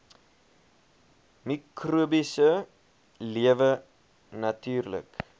mikrobiese lewe natuurlik